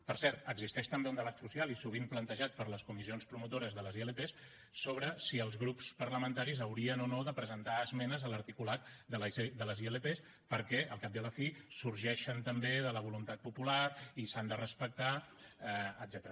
per cert existeix també un debat social i sovint plantejat per les comissions promotores de les ilp sobre si els grups parlamentaris haurien o no de presentar esmenes a l’articulat de les ilp perquè al cap i a la fi sorgeixen també de la voluntat popular i s’han de respectar etcètera